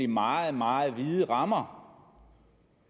meget meget vide rammer